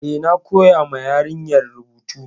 Eh, na koya ma yarinyar rubutu.